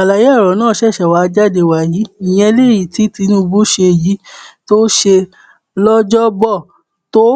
àlàyé ọrọ náà ṣẹṣẹ wáá jáde wàyí ìyẹn lèyí tí tinubu ṣe yìí tó ṣe lọjọbọtò